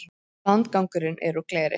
Landgangurinn er úr gleri.